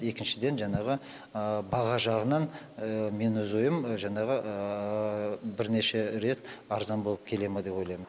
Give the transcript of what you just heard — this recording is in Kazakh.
екіншіден жаңағы баға жағынан мен өз ойым жаңағы бірнеше рет арзан болып келе ме деп ойлаймын